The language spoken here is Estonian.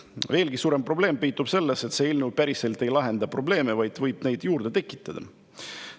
Veelgi suurem probleem peitub selles, et see eelnõu päriselt ei lahenda probleeme, vaid võib neid juurde tekitada.